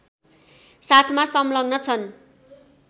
साथमा संलग्न छन्